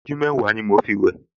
Ìṣẹ́jú mẹ́wàá ni mo fi wẹ̀